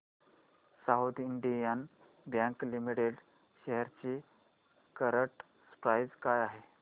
south Indian Bank Limited shares ची current price काय आहे